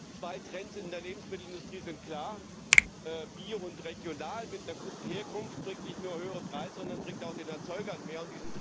Denn zwei Trends in der Lebensmittelindustrie sind klar Bio und Regional mit einer guten Herkunft bringt nicht nur höhere Preise, sondern bringt auch den Erzeugern mehr.